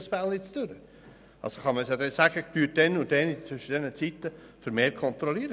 Also kann man doch sagen, kontrolliert in diesen Zeiten vermehrt.